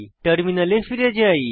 টার্মিনালে ফিরে যাই